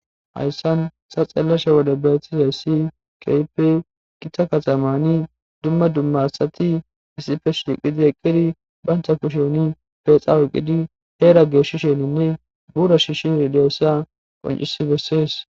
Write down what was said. hayssan sa xellasha wode betizay ssi kepe qita kaxamani dumma dumma asati isife shiqidi eqqidi baynta kushoni pexa wuqqidi heeraggeeshshi sheninne buura shi shi ridiyossa qoncisi bessees